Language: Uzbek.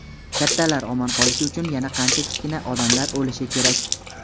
Kattalar omon qolishi uchun yana qancha kichkina odamlar o‘lishi kerak!.